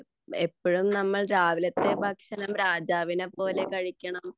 എപ്പോഴും നമ്മൾ രാവിലത്തെ ഭക്ഷണം രാജാവിനെപ്പോലെ കഴിക്കണം